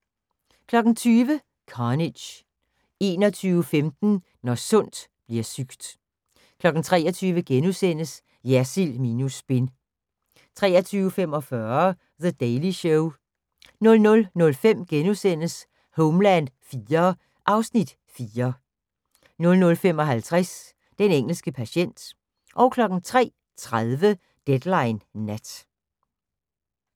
20:00: Carnage 21:15: Når sundt bliver sygt 23:00: Jersild minus spin * 23:45: The Daily Show 00:05: Homeland IV (Afs. 4)* 00:55: Den engelske patient 03:30: Deadline Nat